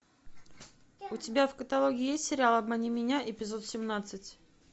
у тебя в каталоге есть сериал обмани меня эпизод семнадцать